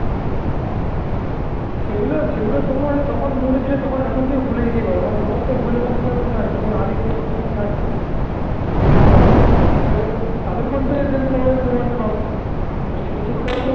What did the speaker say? সেগুলো সেগুলো তোমার যখন mood ছিলে তখন এখন তুমি ভুলে যেতেই পারো. কারণ তোমার তো ভুলের মূল কিনা আমি তো জানি. তুমি আলিস লোক সেটা আমি জানি. তুই এখন পারবি. তাহলে তাদের phone থেকে দেখলে তবে আমি প্রমাণটা পাবো. সেটা হচ্ছে.